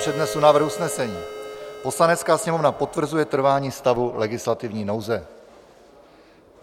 Přednesu návrh usnesení: "Poslanecká sněmovna potvrzuje trvání stavu legislativní nouze."